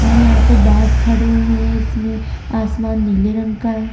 और यहाँ पर बास खड़े हुए है इसमें आसमान नीले रंग का --